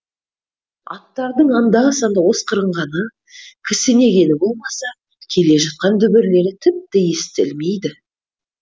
аттардың анда санда осқырынғаны кісінегені болмаса келе жатқан дүбірлері тіпті естілмейді